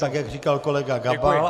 Tak jak říkal kolega Gabal.